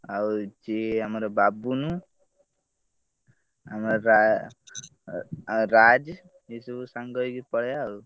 ଆଉ ଆମ ବାବୁନ ଆମ ରା ରାଜ ଏଇ ସବୁ ସାଙ୍ଗ ହେଇକି ପଳେଇବା ଆଉ।